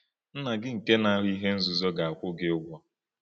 Nna gị nke na-ahụ ihe nzuzo ga-akwụ gị ụgwọ.